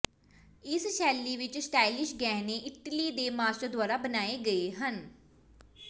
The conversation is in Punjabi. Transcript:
ਇਸ ਸ਼ੈਲੀ ਵਿੱਚ ਸਟਾਈਲਿਸ਼ ਗਹਿਣੇ ਇਟਲੀ ਦੇ ਮਾਸਟਰ ਦੁਆਰਾ ਬਣਾਏ ਗਏ ਹਨ